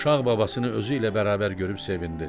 Uşaq babasını özü ilə bərabər görüb sevindi.